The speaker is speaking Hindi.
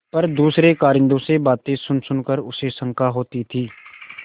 पर दूसरे कारिंदों से बातें सुनसुन कर उसे शंका होती थी